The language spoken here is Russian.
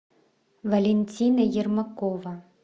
валентина ермакова